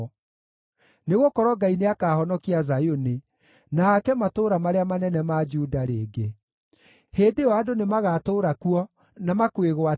nĩgũkorwo Ngai nĩakahonokia Zayuni, na aake matũũra marĩa manene ma Juda rĩngĩ. Hĩndĩ ĩyo andũ nĩmagatũũra kuo na makwĩgwatĩre;